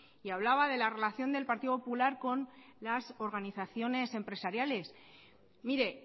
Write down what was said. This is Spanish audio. y hablaba de la relación del partido popular con las organizaciones empresariales mire